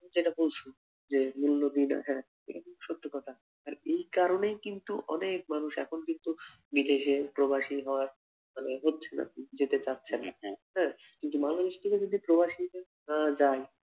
যেটা বলছ যে মৌলবীরা হ্যাঁ এটা কিন্তু সত্যি কথা আর এই কারণেই কিন্তু অনেক মানুষ এখন কিন্তু বিদেশে প্রবাসি হওয়ার মানে হচ্ছেন আর কি যেতে চাচ্ছেন না হ্যা কিন্তু মানুষ গুলো যদি প্রবাসি আহ যায়